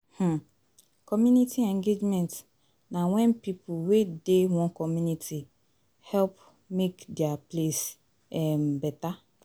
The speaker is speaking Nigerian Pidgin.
um Community engagement na wen pipo wey dey one community help make dia place um beta